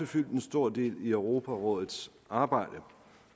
fyldt en stor del i europarådets arbejde